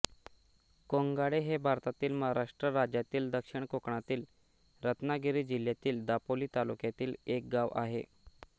कोंगाळे हे भारतातील महाराष्ट्र राज्यातील दक्षिण कोकणातील रत्नागिरी जिल्ह्यातील दापोली तालुक्यातील एक गाव आहे